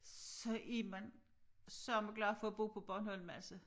Så er man sørme glad for at bo på Bornholm altså